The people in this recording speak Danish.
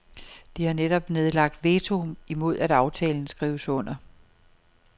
De har netop nedlagt veto imod at aftalen skrives under.